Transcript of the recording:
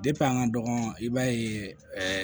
an ka dɔgɔn i b'a ye ɛɛ